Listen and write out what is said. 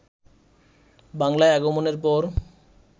বাংলায় আগমনের পর